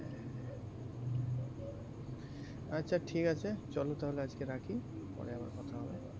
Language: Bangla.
আচ্ছা ঠিক আছে, চল তাহলে আজকে রাখি। পরে আবার কথা হবে